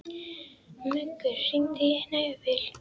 Muggur, hringdu í Hnefil.